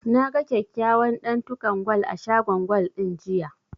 Na ga kyakkyawan ɗantukan gwal a shagon gwal ɗin, jiya.